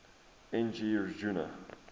n g rjuna